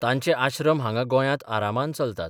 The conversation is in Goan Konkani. तांचे आश्रम हांगां गोंयांत आरामान चलतात.